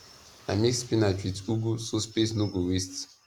i mix spinach with ugu so space no go waste